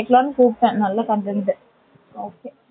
வைக்கலாம்னு கூப்டன் நல்ல content okay